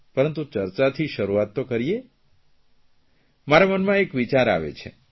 પરંતુ ચર્ચાથી શરૂઆત તો કરીએ મારા મનમાં એક વિચાર આવે છે